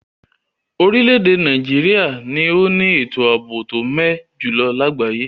Orílèdè Naijiria ni o ni ètò àbò to mé ẹ jùlo lagbaye